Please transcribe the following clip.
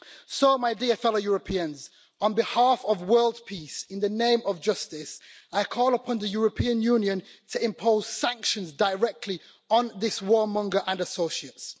So my dear fellow Europeans, on behalf of world peace, in the name of justice, I call upon the European Union to impose sanctions directly on this warmonger and associates.